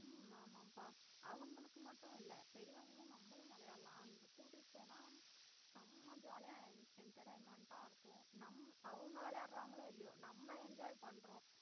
உம் ஆமாபா அவங்களுக்கு மட்டும் இல்லை பெரியவர்களும் நம்மளும் விளையாடலாம் அங்க கூட்டிட்டு போன செம்ம jolly ஆ entertainment ஆ இருக்கும் நம்~ அவங்க விளையாடுறாங்களோ இல்லையோ நம்ம enjoy பண்றோம்